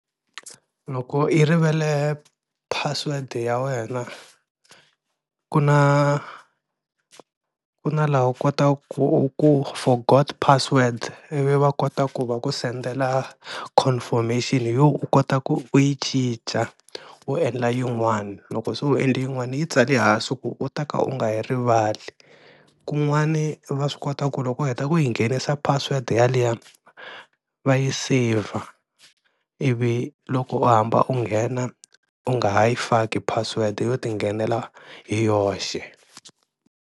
Loko i rivele password ya wena ku na ku na laha u kotaka ku u ku forgot password ivi va kota ku va ku sendela confirmation yo u kota ku u yi cinca u endla yin'wana, loko se u endle yin'wana yi tsali hansi ku u ta ka u nga yi rivali, kun'wani va swi kota ku loko u heta ku yi nghenisa password yaliya va yi saver ivi loko u hamba u nghena u nga ha yi faki password yo ti nghenela hi yoxe.